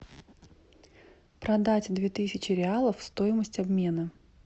продать две тысячи реалов стоимость обмена